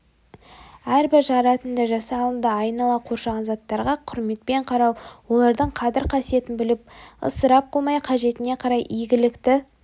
әрбір жаратынды жасалынды айнала қоршаған заттарға құрметпен қарау олардың қадір-қасиетін біліп ысырап қылмай қажетіне қарай игілікті